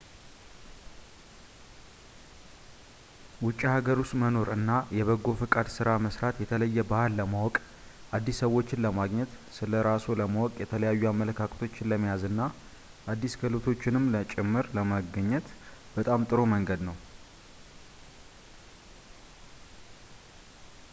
ውጪ ሃገር ውስጥ መኖር እና የበጎ ፈቃድ ስራ መስራት የተለየ ባህል ለማወቅ አዲስ ሰዎችን ለማግኘት ስለራስዎ ለማወቅ የተለያዩ አመለካከቶችን ለመያዝ እና አዲስ ክህሎቶችንም ጭምር ለማግኘት በጣም ጥሩ መንገድ ነው